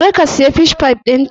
Kar ka siya Fish pie ɗinta!